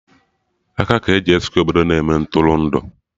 Aka ga-eji Skwe obodo na-eme Ntụrụndụ